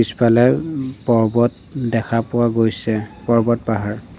ইফালে উম পৰ্বত দেখা পোৱা গৈছে পৰ্বত পাহাৰ।